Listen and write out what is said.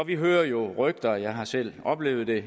vi hører jo rygter jeg har selv oplevet det